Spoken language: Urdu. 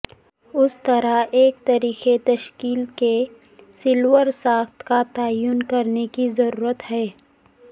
اس طرح ایک طریقہ تشکیل کے سیلولر ساخت کا تعین کرنے کی ضرورت ہے